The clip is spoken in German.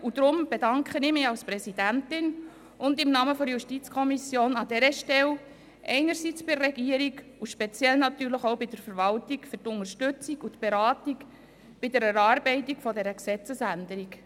Deshalb bedanke ich mich als Präsidentin und im Namen der JuKo an dieser Stelle einerseits bei der Regierung und andererseits natürlich speziell bei der Verwaltung für die Unterstützung und Beratung bei der Erarbeitung dieser Gesetzesänderung.